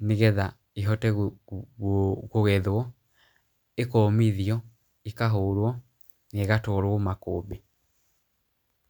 nĩgetha ĩhote kũgethwo, ĩkomithio ĩkahũrwo na ĩgatwarwo makũmbĩ.